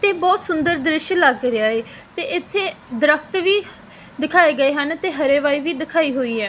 ਤੇ ਬਹੁਤ ਸੁੰਦਰ ਦ੍ਰਿਸ਼ ਲਗ ਰਿਹਾ ਏ ਤੇ ਇੱਥੇ ਦਰਖਤ ਵੀ ਦਿਖਾਏ ਗਏ ਹਨ ਤੇ ਹਰੇਵਾਈ ਵੀ ਦਿਖਾਈ ਹੋਈ ਹੈ।